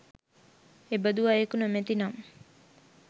එබඳු අයකු නොමැති නම්